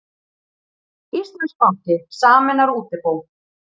Íslandsbanki sameinar útibú